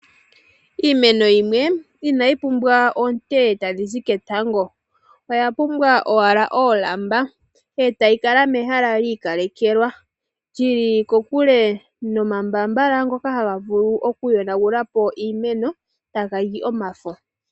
Iimeno yimwe inayi pumbwa oonte tadhi zi ketango, oyapumbwa owala oolamba etayi kala mehala liikalekelwa , lyili kokule nomambaambala ngoka haga vulu okuyonagulapo iimeno, taga li omafo.